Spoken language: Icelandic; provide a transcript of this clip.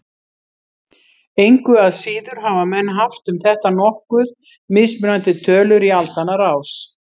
Engu að síður hafa menn haft um þetta nokkuð mismunandi tölur í aldanna rás.